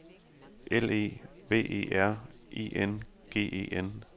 L E V E R I N G E N